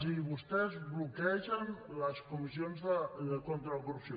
i vostès bloquegen les comissions contra la corrupció